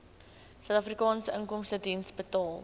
suidafrikaanse inkomstediens betaal